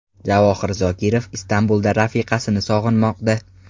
Javohir Zokirov Istanbulda rafiqasini sog‘inmoqda.